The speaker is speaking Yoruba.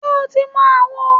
Ṣé o ti mọ àwo?